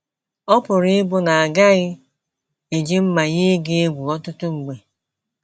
Ọ pụrụ ịbụ na a gaghị eji mmà yie gị egwu ọtụtụ mgbe.